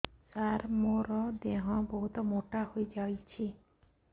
ସାର ମୋର ଦେହ ବହୁତ ମୋଟା ହୋଇଯାଉଛି